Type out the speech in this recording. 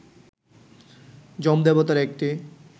যমদেবতার একটি